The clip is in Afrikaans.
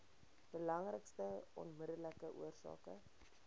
belangrikste onmiddellike oorsake